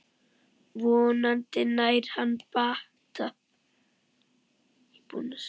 Vonandi nær hann bata.